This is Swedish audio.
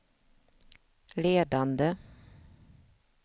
ledande